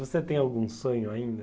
Você tem algum sonho ainda?